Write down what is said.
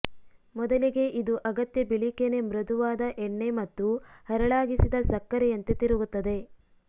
ಮೊದಲಿಗೆ ಇದು ಅಗತ್ಯ ಬಿಳಿ ಕೆನೆ ಮೃದುವಾದ ಎಣ್ಣೆ ಮತ್ತು ಹರಳಾಗಿಸಿದ ಸಕ್ಕರೆಯಂತೆ ತಿರುಗುತ್ತದೆ